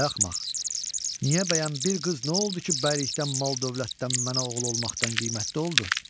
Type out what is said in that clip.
Ay axmaq, niyə bəyəm bir qız nə oldu ki, bəylikdən, mal-dövlətdən, mənə oğul olmaqdan qiymətli oldu?